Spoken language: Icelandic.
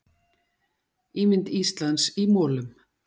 Ímynd Íslands í molum